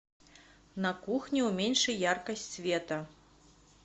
на кухне уменьши яркость света